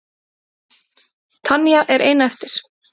Tanya er ein eftir.